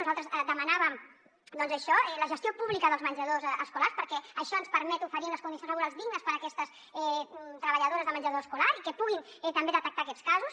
nosaltres demanàvem això la gestió pública dels menjadors escolars perquè això ens permet oferir unes condicions laborals dignes per a aquestes treballadores de menjador escolar i que puguin també detectar aquests casos